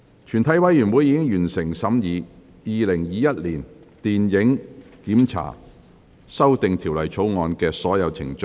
全體委員會已完成審議《2021年電影檢查條例草案》的所有程序。